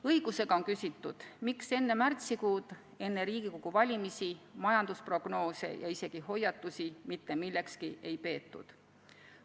Õigusega on küsitud, miks enne märtsikuud, enne Riigikogu valimisi majandusprognoose ja isegi hoiatusi mitte millekski ei peetud.